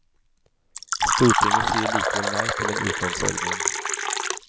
Stortinget sier likevel nei til en utlånsordning.